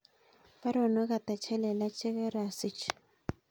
Baronok ata chelelach chegarasich